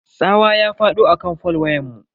Tsawa ya fado akan fol wayanmu.